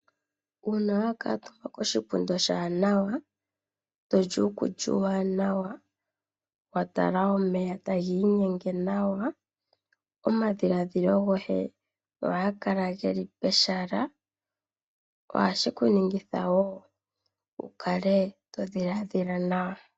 Uuna wa kuutumba koshipundi oshiwanawa toli uukulya uuwanawa omadhilaadhilo goye ohaga kala geli pehala ohashi ku ningitho wukale todhilaadhila nawa.